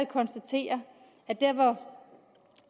konstatere at der hvor